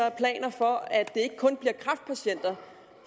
af planer for at det ikke kun bliver kræftpatienter